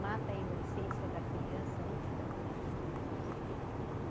mata a inocência da criança antes da criança começar a sonhar.